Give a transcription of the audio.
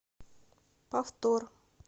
повтор